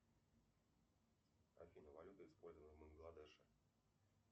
афина валюта используемая в бангладеше